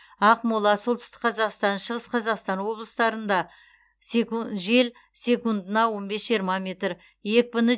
ақмола солтүстік қазақстан шығыс қазақстан облыстарында жел секундына он бес жиырма метр екпіні